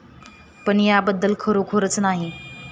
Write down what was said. पण त्याबद्दल खरोखरच नाही.